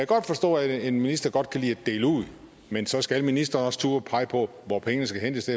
godt forstå at en minister godt kan lide at dele ud men så skal ministeren også turde pege på hvor pengene skal hentes